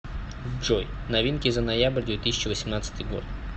джой новинки за ноябрь две тысячи восемнадцатый год